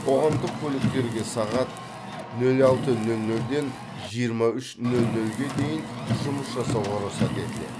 қоғамдық көліктерге сағат нөл алты нөл нөлден жиырма үш нөл нөлге дейін жұмыс жасауға рұқсат етіледі